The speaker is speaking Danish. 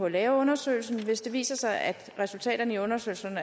lave undersøgelsen hvad hvis det viser sig at resultaterne af undersøgelsen